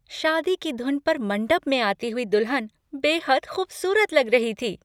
शादी की धुन पर मंडप में आती हुई दुल्हन बेहद खूबसूरत लग रही थी।